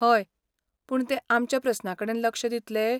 हय, पूण ते आमच्या प्रस्नांकडेन लक्ष दितले?